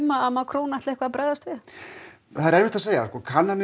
að Macron ætli að bregðast við þessu erfitt að segja kannanir